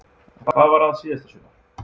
En hvað var að síðasta sumar?